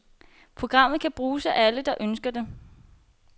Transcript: Programmet kan bruges af alle, der ønsker det.